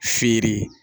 Fiyere